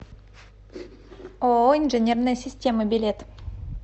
ооо инженерные системы билет